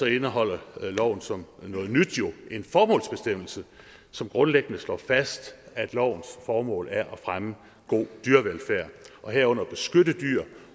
indeholder loven jo som noget nyt en formålsbestemmelse som grundlæggende slår fast at lovens formål er at fremme god dyrevelfærd herunder at beskytte dyr